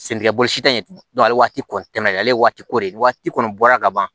Sen tigɛ bolosi tɛ ɲɛ ale waati kɔni tɛmɛnen ale waati ko de waati kɔni bɔra ka ban